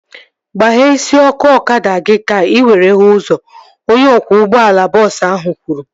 Gbaghee isi ọkụ ọkada gị ka ị were hụ ụzọ! Onye ọkwọ ụgbọala bọọsu ahu kwuru